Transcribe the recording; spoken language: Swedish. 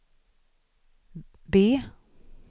B